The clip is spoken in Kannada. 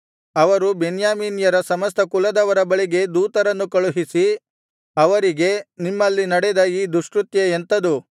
ಅವರು ಬೆನ್ಯಾಮೀನ್ಯರ ಸಮಸ್ತ ಕುಲದವರ ಬಳಿಗೆ ದೂತರನ್ನು ಕಳುಹಿಸಿ ಅವರಿಗೆ ನಿಮ್ಮಲ್ಲಿ ನಡೆದ ಈ ದುಷ್ಕೃತ್ಯ ಎಂಥದು